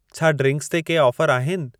छा ड्रिन्क्स ते के ऑफर आहिनि?